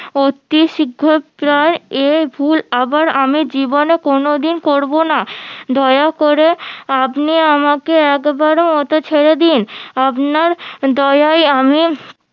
অতি এ ভুল আবার আমি জীবনে কোনোদিন করবোনা দয়া করে আপনি আমাকে একবার মতো ছেড়ে দিন আপনার দয়ায় আমি